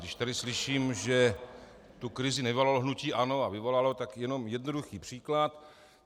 Když tady slyším, že tu krizi nevyvolalo hnutí ANO, a vyvolalo, tak jenom jednoduchý příklad.